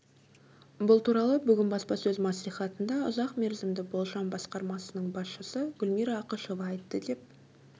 бұл туралы бүгін баспасөз мәслихатында ұзақ мерзімді болжам басқармасының басшысы гүлмира ақышева айтты деп